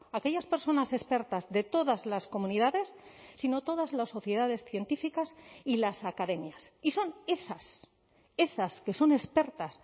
aquellas personas expertas de todas las comunidades sino todas las sociedades científicas y las academias y son esas esas que son expertas